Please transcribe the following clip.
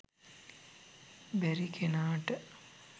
බැරි කෙනාට